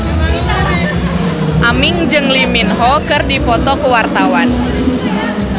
Aming jeung Lee Min Ho keur dipoto ku wartawan